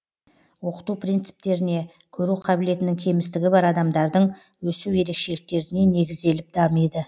оқыту принциптеріне көру қабілетінің кемістігі бар адамдардың өсу ерекшеліктеріне негізделіп дамиды